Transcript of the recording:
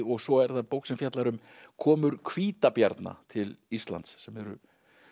og svo er það bók sem fjallar um komur hvítabjarna til Íslands sem eru